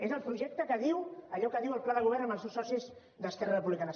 és el projecte que diu allò que diu el pla de govern amb els seus socis d’esquerra republicana